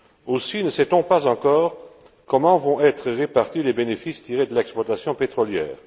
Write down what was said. Aussi, ne sait on pas encore comment vont être répartis les bénéfices tirés de l'exploitation pétrolière.